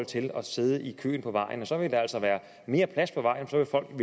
til at sidde i kø på vejen så vil der altså være mere plads på vejene for folk